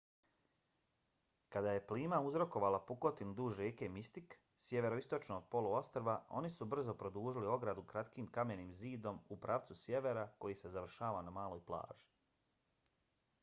kada je plima uzrokovala pukotinu duž rijeke mystic sjeveroistočno od poluostrva oni su brzo produžili ogradu kratkim kamenim zidom u pravcu sjevera koji se završava na maloj plaži